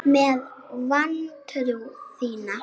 Með vantrú þína.